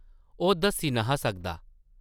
ओह् दस्सी न’हा सकदा ।